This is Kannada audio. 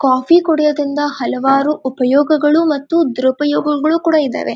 ಕಾಫಿ ಕುಡಿಯೋದ್ರಿಂದ ಹಲವಾರು ಉಪಯೋಗಗಳು ಮತ್ತು ದುರಪಯೋಗಗಳು ಕೂಡ ಇದಾವೆ.